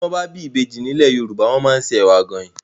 Ti wòn bâ bi ibéji ni ilé Yoruba wòn má n sé èwá gáin